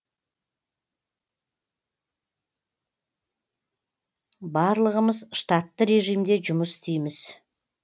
барлығымыз штатты режимде жұмыс істейміз